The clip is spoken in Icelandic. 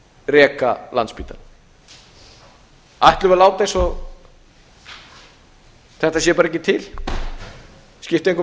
reka landspítalann ætlum við að láta eins og þetta sé bara ekki til skipti engu